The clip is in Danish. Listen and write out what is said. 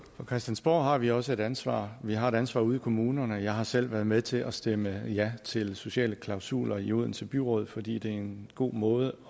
på christiansborg har vi også et ansvar vi har et ansvar ude i kommunerne jeg har selv været med til at stemme ja til sociale klausuler i odense byråd fordi det er en god måde